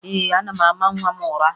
Ee, ana m ama nwa m ụra